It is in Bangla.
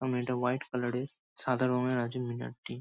সামনে এটা হোয়াইট কালার -এর সাদা রঙের আছে মিনারটি।